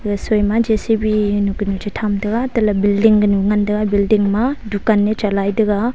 rasoi ma J_C_B tham tega tele building nu ngan tega building ma ni tega.